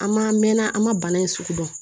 An ma mɛn an ma bana in sugu dɔn